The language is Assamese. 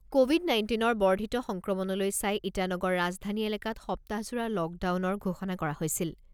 ক’ভিড নাইণ্টিনৰ বৰ্ধিত সংক্ৰমণলৈ চাই ইটানগৰ ৰাজধানী এলেকাত সপ্তাহজোৰা লকডাউনৰ ঘোষণা কৰা হৈছিল।